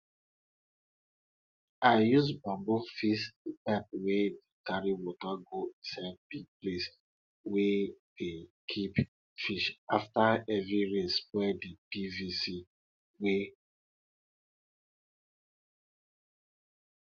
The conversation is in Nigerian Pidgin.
i use bamboo fix di pipe wey dey carry water go inside di place we dey keep fish afta heavy rain spoil di pvc wey